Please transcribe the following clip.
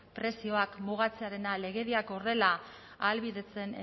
prezioak mugatzearena legediak horrela ahalbidetzen